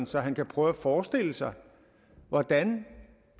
så han kan prøve at forestille sig hvordan